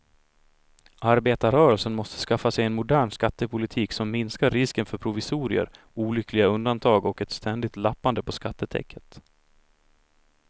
Arbetarrörelsen måste skaffa sig en modern skattepolitik som minskar risken för provisorier, olyckliga undantag och ett ständigt lappande på skattetäcket.